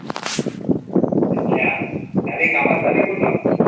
अच्छा झालीत काम झालीत पूर्ण.